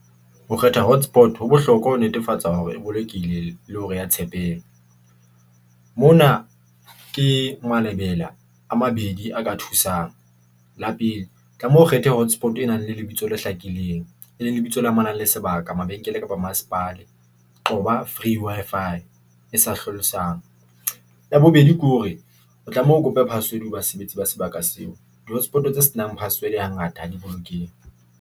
Ho kgetha hotspot ho bohlokwa ho netefatsa hore e bolokile le hore ya Mona ke malebela a mabedi a ka thusang, la pele tlameha o kgethe hotspot e nang le lebitso le hlakileng, e leng lebitso le amanang le sebaka, mabenkele kapa masepale. Qoba free Wi-Fi e sa hlalosang ya bobedi ke hore o tlameha o kope password ho basebetsi ba sebaka seo di hotspot tse se nang password ha ngata ha di bolokehe.